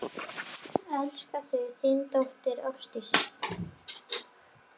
Elska þig, þín dóttir, Ásdís.